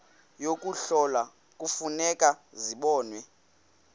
yokuhlola kufuneka zibonwe